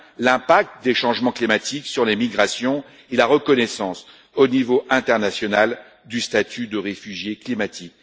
L'impact des changements climatiques sur les migrations et la reconnaissance au niveau international du statut de réfugié climatique.